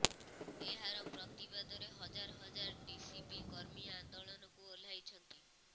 ଏହାର ପ୍ରତିବାଦରେ ହଜାର ହଜାର ଟିଡିପି କର୍ମୀ ଆନ୍ଦୋଳନକୁ ଓହ୍ଲାଇଛନ୍ତି